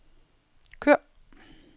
kør